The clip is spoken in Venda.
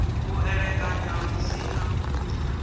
u elekanya lu si na